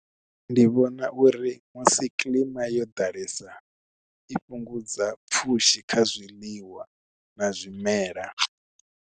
Ndi vhona uri musi kilima yo ḓalesa i fhungudza pfhushi kha zwiḽiwa na zwimela.